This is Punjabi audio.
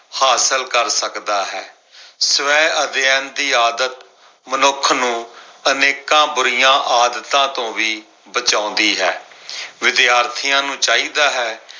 ਹਾਸਲ ਕਰ ਸਕਦਾ ਹੈ। ਸਵੈ ਅਧਿਐਨ ਦੀ ਆਦਤ ਮਨੁੱਖ ਨੂੰ ਅਨੇਕਾਂ ਬੁਰੀਆਂ ਆਦਤਾਂ ਤੋਂ ਵੀ ਬਚਾਉਂਦੀ ਹੈ। ਵਿਦਿਆਰਥੀਆਂ ਨੂੰ ਚਾਹੀਦਾ ਹੈ